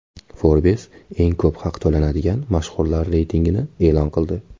Forbes eng ko‘p haq to‘lanadigan mashhurlar reytingini e’lon qildi.